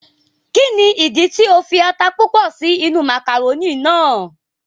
Ki ni ìdí tí o fi ata púpọ sí inú màkàrónì náà?